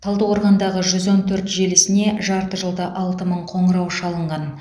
талдықорғандағы жүз он төрт желісіне жарты жылда алты мың қоңырау шалынған